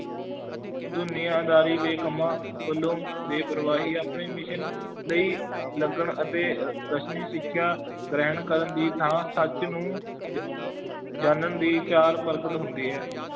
ਦੁਨੀਆਦਾਰੀ ਦੇ ਕੰਮਾਂ ਵੱਲੋਂ ਬੇਪਰਵਾਹੀ, ਆਪਣੇ mission ਲਈ ਲਗਨ ਅਤੇ ਅਹ ਰਸਮੀ ਸਿੱਖਿਆ ਗ੍ਰਹਿਣ ਕਰਨ ਦੀ ਥਾਂ ਸੱਚ ਨੂੰ ਜ~ ਜਾਣਨ ਦੀ ਚਾਰ ਪ੍ਰਗਟ ਹੁੰਦੀ ਹੈ